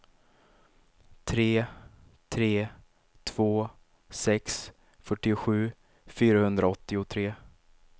tre tre två sex fyrtiosju fyrahundraåttiotre